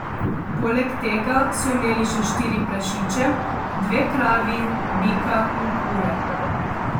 Poleg tega so imeli še štiri prašiče, dve kravi, bika in kure.